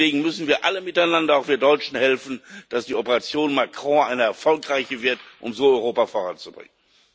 Und deswegen müssen wir alle miteinander, auch wir Deutschen, helfen, dass die Operation Macron erfolgreich wird, um so Europa voranzubringen.